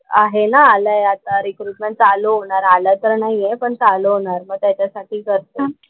आहे ना आलंय आता चालू रिक्रुटमेंट होणार. आलं तर नाही आहे पण चालू होणार, मग त्याच्यासाठी करतेय.